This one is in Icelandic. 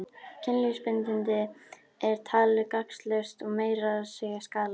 Kynlífsbindindi er talið gagnslaust og meira að segja skaðlegt.